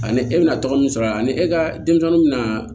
Ani e bɛna tɔgɔ min sɔrɔ a ni e ka denmisɛnninw bɛna